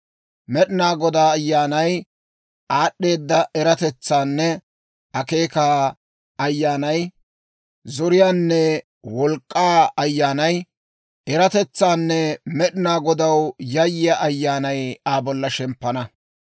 Med'inaa Godaa Ayyaanay, aad'd'eeda eratetsaanne akeekaa Ayyaanay, zoriyaanne wolk'k'aa Ayyaanay, eratetsaanne Med'inaa Godaw yayyiyaa Ayyaanay Aa bolla shemppana.